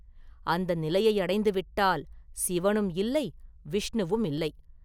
அந்த நிலையை அடைந்து விட்டால் சிவனும் இல்லை, விஷ்ணுவும் இல்லை.